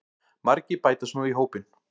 Margir bætast nú í hópinn